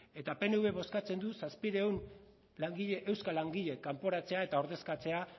eta pnvek bozkatzen du zazpiehun langile euskal langile kanporatzea eta ordezkatzea